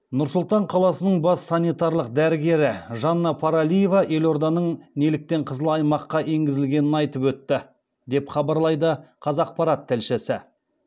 нұр сұлтан қаласының бас санитарлық дәрігері жанна паралиева елорданың неліктен қызыл аймаққа енгізілгенін айтып өтті деп хабарлайды қазақпарат тілшісі